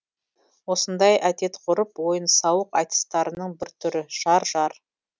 осындай әдет ғұрып ойын сауық айтыстарының бір түрі жар жар